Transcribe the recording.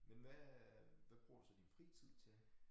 Men hvad hvad bruger du så din fritid til?